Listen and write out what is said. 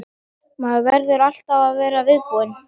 Maður verður alltaf að vera viðbúinn.